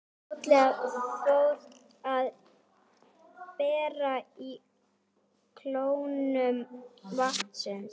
Fljótlega fór að bera á kólnun vatnsins.